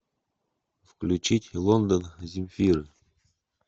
включить лондон земфиры